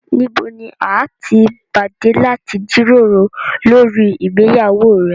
Níbò ní à tí pàdé láti jírórò lórí ìgbéyàwó rẹ̀?